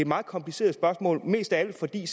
meget kompliceret spørgsmål mest af alt fordi